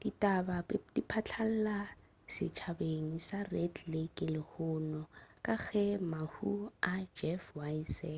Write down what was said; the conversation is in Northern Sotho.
ditaba di phatlalala setšhabeng sa red lake lehono ka ge mahu a jeff weise